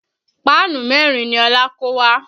Páànù mẹ́rin ni Ọlá kó wá